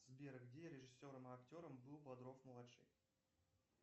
сбер где режиссером и актером был бодров младший